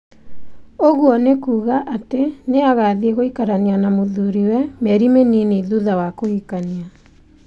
Ũguo nĩ kuuga atĩ nĩ agathiĩ gũikarania na mũthuriwe mĩeri mĩnini thutha wa kũhikania